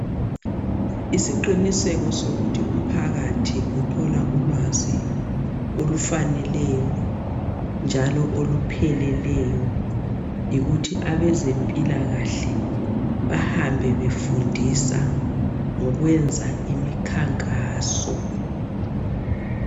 Isiquniseko sokuthi umphakathi uthola ulwazi olufaneleyo njalo olupheleleyo yikuthi abezempilakahle bahambe befundisa ngokwenza imikhankaso.